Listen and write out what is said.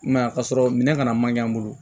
I m'a ye ka sɔrɔ minɛ kana man ɲɛ an bolo